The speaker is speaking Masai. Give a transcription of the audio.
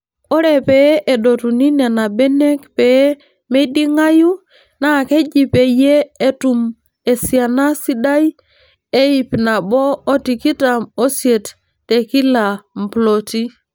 Ore pee edotuni Nena benek pee meiding'ayu naa keji peeyiee etumi esiana sidai e ipnabo otikitam oisiet tekila mploti.